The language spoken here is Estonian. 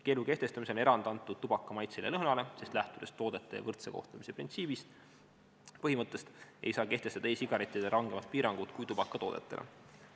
Keelu kehtestamisel on erand antud tubaka maitsele ja lõhnale, sest lähtudes toodete võrdse kohtlemise põhimõttest, ei saa kehtestada e-sigarettidele rangemat piirangut kui tubakatoodetele.